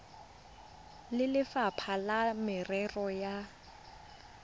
le lefapha la merero ya